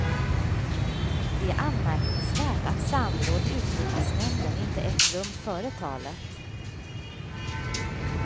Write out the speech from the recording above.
Det är anmärkningsvärt att samråd i utrikesnämnden inte ägt rum före talet.